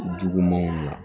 Jugumanw na